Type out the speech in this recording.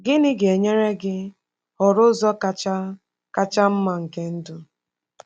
Gịnị ga-enyere gị họrọ ụzọ kacha kacha mma nke ndụ?